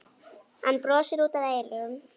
Hann brosir út að eyrum.